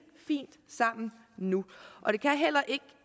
fint sammen nu